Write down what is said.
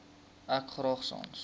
ek graag sans